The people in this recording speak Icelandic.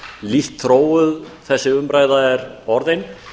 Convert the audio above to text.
lítt þróuð þessi umræða er orðin